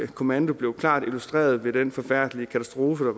kommando blev klart illustreret ved den forfærdelige katastrofe